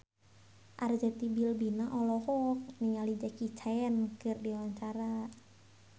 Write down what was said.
Arzetti Bilbina olohok ningali Jackie Chan keur diwawancara